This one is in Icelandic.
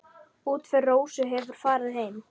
Útför Rósu hefur farið fram.